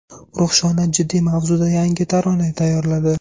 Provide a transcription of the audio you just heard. Ruxshona jiddiy mavzuda yangi tarona tayyorladi.